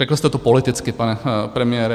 Řekl jste to politicky, pane premiére.